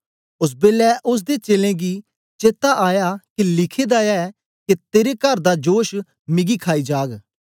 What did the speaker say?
ओस बेलै ओसदे चेलें गी चेता आया के लिखे दा ए के तेरे कर दा जोश मिगी खाई जाग